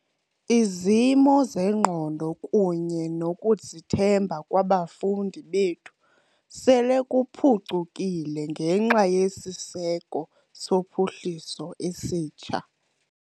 "Izimo zengqondo kunye nokuzithemba kwabafundi bethu sele kuphucukile ngenxa yesiseko sophuhliso esitsha."